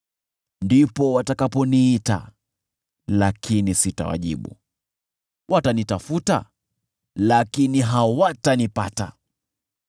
“Ndipo watakaponiita lakini sitawajibu; watanitafuta lakini hawatanipata.